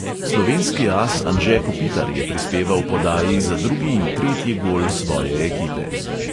Slovenski as anže kopitar je prispeval podaji za drugi in tretji gol svoje ekipe.